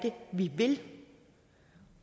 vi vil